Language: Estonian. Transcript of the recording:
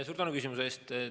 Suur tänu küsimuse eest!